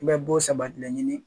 I bɛ bo sabatilen ɲini